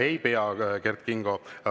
Ei pea, Kert Kingo.